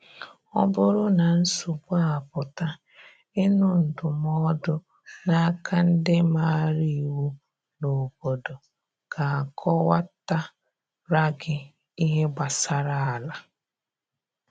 Ọ bụrụ na nsogbu apụta, ịnụ ndụmọdụ na aka ndi maara iwu n’obodo ga akọwata ra gi ihe gbasara ala